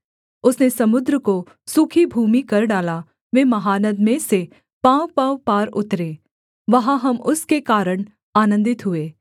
उसने समुद्र को सूखी भूमि कर डाला वे महानद में से पाँवपाँव पार उतरे वहाँ हम उसके कारण आनन्दित हुए